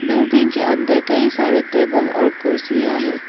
Building के अंदर कई सारे टेबल और कुर्सियां हैं।